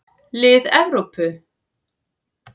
Lið Evrópu.